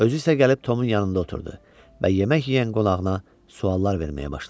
Özü isə gəlib Tomun yanında oturdu və yemək yeyən qonağına suallar verməyə başladı.